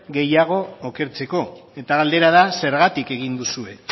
gehiago okertzeko eta galdera da zergatik egin duzue